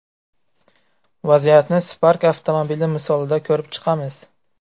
Vaziyatni Spark avtomobili misolida ko‘rib chiqamiz.